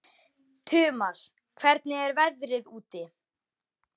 Tumas, hvernig er veðrið úti?